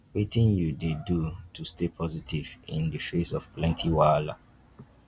wetin you dey do to stay positive in di face of plenty wahala?